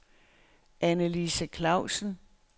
Annelise Klausen